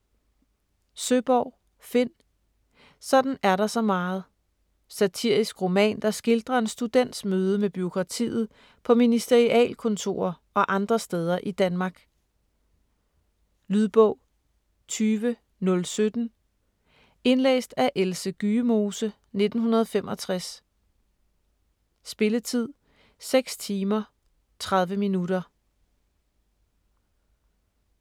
Søeborg, Finn: Sådan er der så meget Satirisk roman, der skildrer en students møde med bureaukratiet på ministerialkontorer og andre steder i Danmark. Lydbog 20017 Indlæst af Else Gyemose, 1965. Spilletid: 6 timer, 30 minutter.